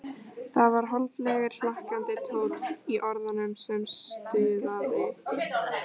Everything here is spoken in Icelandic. Það var holdlegur, hlakkandi tónn í orðunum sem stuðaði